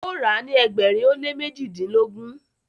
o ra ni ẹgbẹrin o le mejidilogun.